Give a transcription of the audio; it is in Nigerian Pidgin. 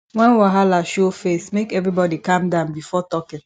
wen wahala show face make everybody calm down before talking